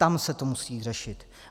Tam se to musí řešit.